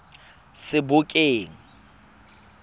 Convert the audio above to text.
sebokeng